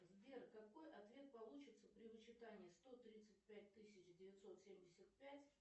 сбер какой ответ получится при вычитании сто тридцать пять тысяч девятьсот семьдесят пять